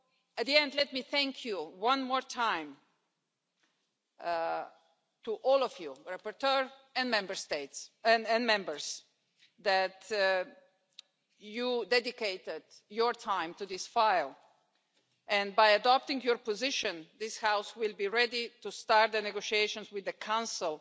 At the end, let me thank you, one more time, all of you rapporteur and Members that you dedicated your time to this file, and by adopting your position, this House will be ready to start the negotiations with the Council